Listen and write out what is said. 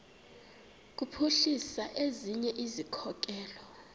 kuphuhlisa ezinye izikhokelo